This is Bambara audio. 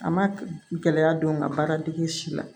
A ma gɛlɛya don n ka baara dege si la